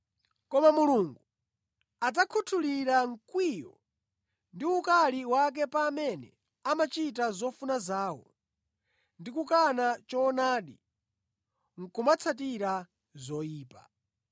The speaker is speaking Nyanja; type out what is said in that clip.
Koma Mulungu adzakhuthulira mkwiyo ndi ukali wake pa amene amachita zofuna zawo ndi kukana choonadi nʼkumatsatira zoyipa.